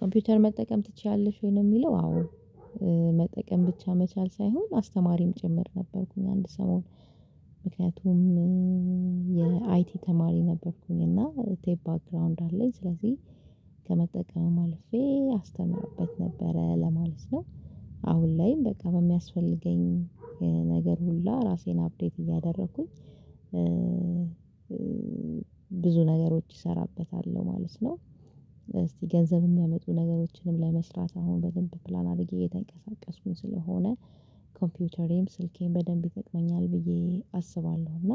ኮምፒውተር መጠቀም ትችያለሽ ወይ? ለሚለው አዎ መጠቀም ብቻ መቻል ሳይሆን አስተማሪም ጭምር ነበርኩኝ አንድ ሰሞን ምክንያቱም የአይቲ ተማሪ ነበርኩኝ። እና ቴፕ ባክግራውንድ አለኝ ስለዚህ ከመጠቀም አልፌ አስተምርበት ነበረ ለማለት ነው። አሁን ላይም በቃ በሚያስፈልገኝ ነገር ሁላ ራሴን አፕዴት እያደረኩኝ ብዙ ነገሮች እሰራበታለሁ ማለት ነው። እስቲ ገንዘብ የሚያመጡ ነገሮችንም ለመስራት አሁን በደንብ ፕላን አድርጌ እየተንቀሳቀስኩኝ ስለሆነ ኮምፒውተሬም ስልኬም በደንብ ይጠቅመኛል ብዬ አስባለሁ። እና